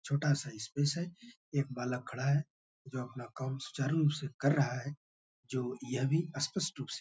छोटा सा स्पेस है। एक बालक खड़ा है जो अपना काम सुचारु रूप से कर रहा है जो यह भी स्पष्ट रूप से --